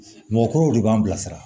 Mɔgɔkɔrɔbaw de b'an bilasira